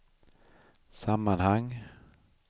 sammanhang